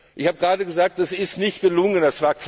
Ich habe gerade gesagt, das ist nicht gelungen.